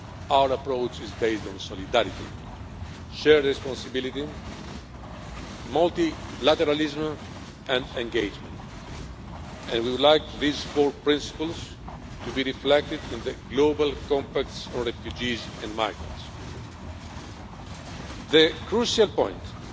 Our approach is based on solidarity, shared responsibility, multilateralism and engagement, and we would like these four principles to be reflected in the global compacts on refugees and migrants. The crucial point for the global compact on migrants is to strike a balance in addressing regular and irregular migration. A person should never risk their life when seeking a better future abroad.